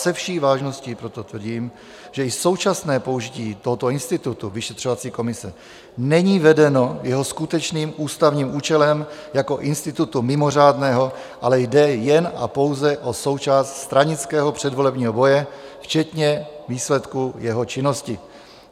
Se vší vážností proto tvrdím, že i současné použití tohoto institutu vyšetřovací komise není vedeno jeho skutečným ústavním účelem jako institutu mimořádného, ale jde jen a pouze o součást stranického předvolebního boje včetně výsledku jeho činnosti.